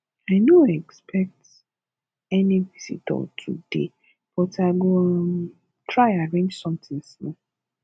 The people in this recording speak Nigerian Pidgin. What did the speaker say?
i no expect any visitor today but i go um try arrange something small